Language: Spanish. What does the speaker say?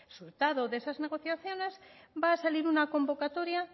resultado de esas negociaciones va a salir una convocatoria